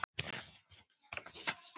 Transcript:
Nú er lag.